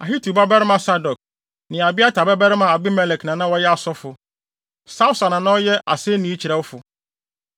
Ahitub babarima Sadok ne Abiatar babarima Abimelek na na wɔyɛ asɔfo. Sawsa na na ɔyɛ asennii kyerɛwfo.